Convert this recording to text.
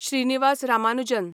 Srinivasa Ramanujan